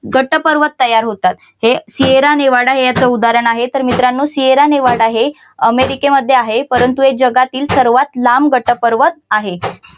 गट पर्वत तयार होतात. हे सियरा निवाडा हे याच उदाहरण आहे तर मित्रांनो सियरा निवाडा हे अमेरिकेमध्ये आहे परंतु हे जगातील सर्वात लांब गट पर्वत आहे.